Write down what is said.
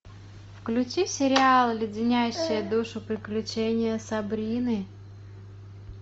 включи сериал леденящие душу приключения сабрины